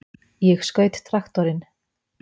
Ég skaut traktorinn!